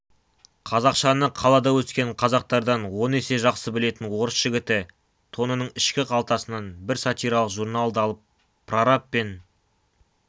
қазақшаны қалада өскен қазақтардан он есе жақсы білетін орыс жігіті тонының ішкі қалтасынан бір сатиралық журналды алып прораб пен